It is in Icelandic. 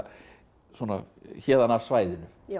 svona héðan af svæðinu